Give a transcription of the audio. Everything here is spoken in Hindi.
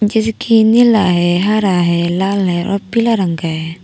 जैसे कि नीला है हर है लाल है और पीला रंग का है।